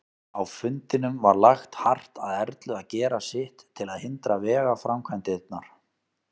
Á fundinum var lagt hart að Erlu að gera sitt til að hindra vegaframkvæmdirnar.